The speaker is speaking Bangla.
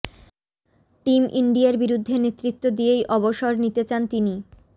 টিম ইন্ডিয়ার বিরুদ্ধে নেতৃত্ব দিয়েই অবসর নিতে চান তিনি